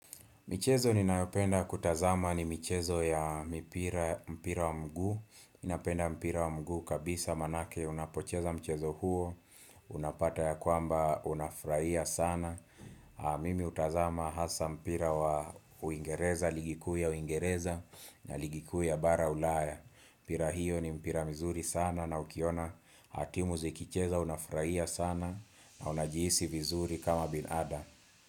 Michezo ninayopenda kutazama ni michezo ya mipira mpira wa mguu napenda mpira wa mguu kabisa manake unapocheza mchezo huo Unapata ya kwamba unafurahia sana Mimi hutazama hasa mpira wa uingereza, ligi kuu ya uingereza na ligi kuu ya bara ulaya mpira hiyo ni mpira mzuri sana na ukiona timu zikicheza unafurahia sana na unajihisi vizuri kama binadamu.